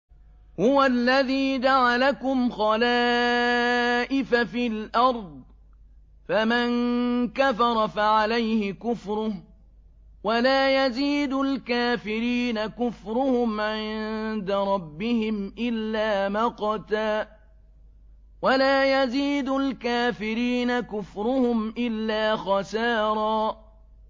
هُوَ الَّذِي جَعَلَكُمْ خَلَائِفَ فِي الْأَرْضِ ۚ فَمَن كَفَرَ فَعَلَيْهِ كُفْرُهُ ۖ وَلَا يَزِيدُ الْكَافِرِينَ كُفْرُهُمْ عِندَ رَبِّهِمْ إِلَّا مَقْتًا ۖ وَلَا يَزِيدُ الْكَافِرِينَ كُفْرُهُمْ إِلَّا خَسَارًا